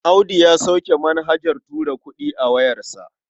Audu ya sauke manhajar tura kuɗi a wayarsa.